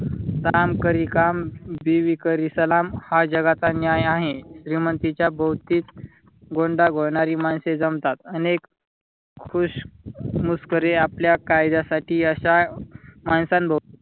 काम करी काम बीवी करी सलाम हा जगाचा न्याय आहे. श्रीमंतीच्या भोवती गोंडा घोळणारी माणसे जमतात अनेक खुशमस्करी आपल्या कायद्यासाठी अशा माणसांभोवती.